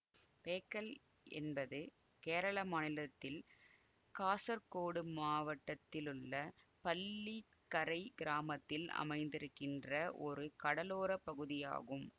பேக்கல் என்பது கேரள மாநிலத்தில் காசர்கோடு மாவட்டத்திலுள்ள பள்ளிக்கரை கிராமத்தில் அமைந்திருக்கின்ற ஒரு கடலோர பகுதி ஆகும்